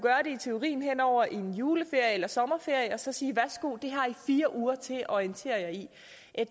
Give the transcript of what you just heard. i teorien hen over en juleferie eller sommerferie og så sige værsgo det har i fire uger til at orientere jer i